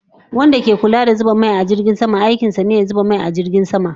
Wanda ke Kulla da zuba mai a jirgin sama, aikin sa ne ya dinga zuba ma jirgin sama mai